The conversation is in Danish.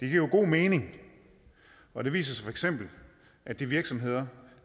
det giver god mening og det viser sig feks at de virksomheder